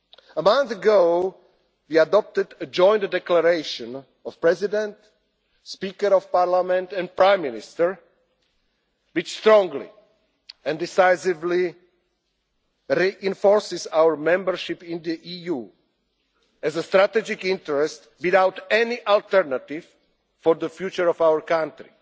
A month ago we adopted a joint declaration of the President, the Speaker of the Parliament and the Prime Minister, which strongly and decisively reinforces our membership in the EU as a strategic interest without any alternative for the future of our country.